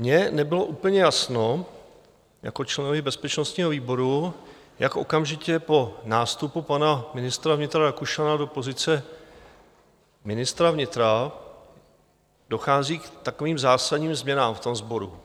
Mně nebylo úplně jasno jako členovi bezpečnostního výboru, jak okamžitě po nástupu pana ministra vnitra Rakušana do pozice ministra vnitra dochází k takovým zásadním změnám v tom sboru.